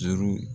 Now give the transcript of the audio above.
Juru